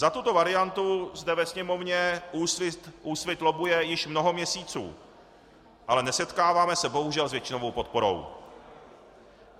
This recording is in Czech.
Za tuto variantu zde ve Sněmovně Úsvit lobbuje již mnoho měsíců, ale nesetkáváme se bohužel s většinovou podporou.